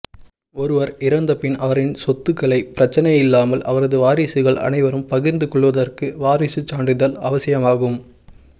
ஒருவர் இறந்தபின் அவரின் சொத்துக்களை பிரச்சினையில்லாமல் அவரது வாரிசுகள் அனைவரும் பகிர்ந்து கொள்வதற்கு வாரிசுச் சான்றிதழ் அவசியமாகும்